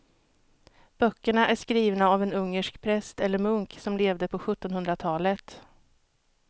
Böckerna är skrivna av en ungersk präst eller munk som levde på sjuttonhundratalet.